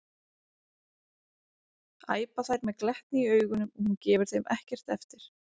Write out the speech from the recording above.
æpa þær með glettni í augunum og hún gefur þeim ekkert eftir.